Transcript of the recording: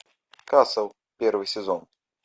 касл первый сезон